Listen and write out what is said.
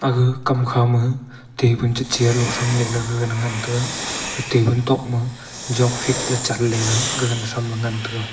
gaga kam kha ma tabun che chair lung cham le gaga ngan taiga tabun tok ma jok fik le chat le le gagan tram le ngan tega.